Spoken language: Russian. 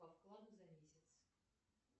по вкладу за месяц